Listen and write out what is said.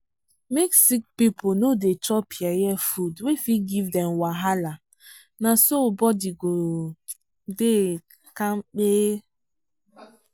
make sick people no dey chop yeye food wey fit give dem wahala na so body go dey kampe.